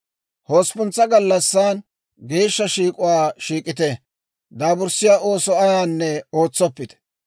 « ‹Hosppuntsa gallassan geeshsha shiik'uwaa shiik'ite; daaburssiyaa ooso ayaanne ootsoppite.